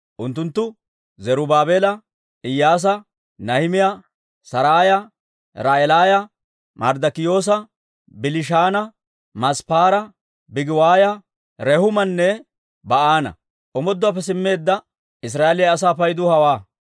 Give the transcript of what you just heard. Unttunttu Zarubaabeela, Iyyaasa, Nahimiyaa, Saraaya, Ra'eelaaya, Marddikiyoosa, Bilishaana, Misppaara, Bigiwaaya, Rehuumanne Ba'aana. Omooduwaappe simmeedda Israa'eeliyaa asaa paydu hawaa.